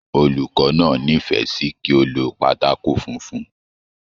Olùkọ náà n'ifẹ sí kí o ló pátákó funfun.